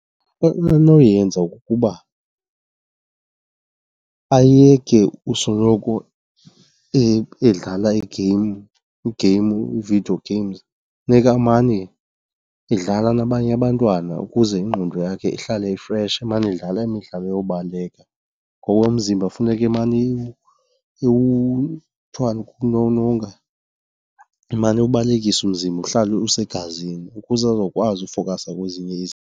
Into anoyenza kukuba ayeke usoloko edlala i-game i-video games funeka amane edlala nabanye abantwana ukuze ingqondo yakhe ihlale ifreshi, emane edlala imidlalo yobaleka. Ngoba umzimba funeke emane , kuthiwani? Ukulolonga, ewubalekisa umzimba uhlale usegazini ukuze azokwazi ukufokhasa kwezinye izinto.